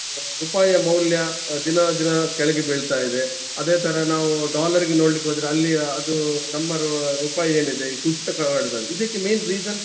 ರೂಪಾಯ ಮೌಲ್ಯ ದಿನ ದಿನ ಕೆಳಗೆ ಬೀಳ್ತಾ ಇದೆ. ಅದೇ ತರ ನಾವು dollar ಗೆ ನೋಡ್ಲಿಕ್ಕೆ ಹೋದ್ರೆ ಅಲ್ಲಿಯ ಅದು ನಮ್ಮ ರು~ ರೂಪಾಯಿ ಏನಿದೆ ಕುಸಿತ ಕಾಣ್ತಿದೆ ಇದಕ್ಕೆ main reason .